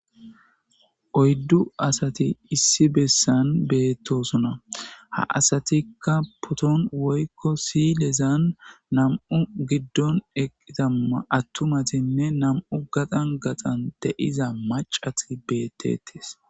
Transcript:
oyddu asati issi bessan beettosuna ha asatikka poton woykko sidhezan nam7u giddon eqitama attumatinne nam7u gaxan gaxan deiza macat beettetis